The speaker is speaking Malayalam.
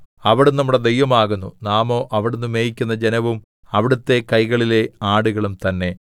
അവിടുന്ന് നമ്മുടെ ദൈവമാകുന്നു നാമോ അവിടുന്ന് മേയിക്കുന്ന ജനവും അവിടുത്തെ കൈകളിലെ ആടുകളും തന്നെ